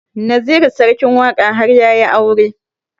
Naziru sarkin waƙa har yayi aure